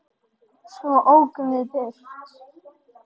Svo ókum við burt.